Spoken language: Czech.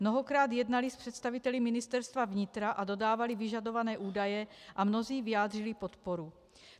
Mnohokrát jednali s představiteli Ministerstva vnitra a dodávali vyžadované údaje, a mnozí vyjádřili podporu.